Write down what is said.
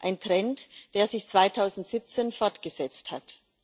ein Trend, der sich 2017 fortgesetzt hat.